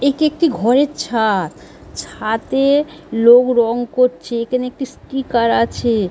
এটি একটি ঘরের ছাদ ছাদে লোক রং করছে। এখানে একটি স্কিকার আছে-এ।